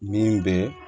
Min bɛ